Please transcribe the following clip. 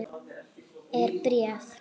Er bréf?